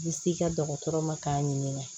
Bi s'i ka dɔgɔtɔrɔ ma k'a ɲininka